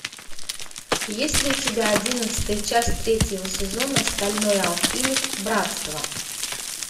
есть ли у тебя одиннадцатая часть третьего сезона стальной алхимик братство